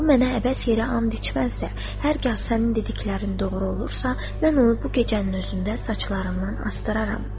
O mənə əbəs yerə and içməzsə, hər kəz sənin dediklərin doğru olursa, mən onu bu gecənin özündə saçlarımdan astdıraram.